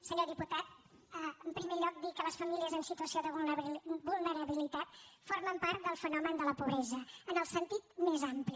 senyor diputat en primer lloc dir que les famílies en situació de vulnerabilitat formen part del fenomen de la pobresa en el sentit més ampli